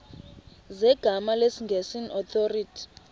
zegama lesngesn authorit